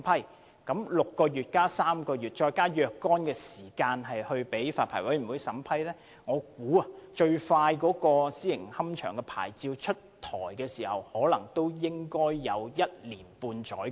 在時間方面 ，6 個月加3個月，然後再有若干時間給發牌委員會審批申請，我估計要批出私營龕場的牌照，最快可能也需時一年半載。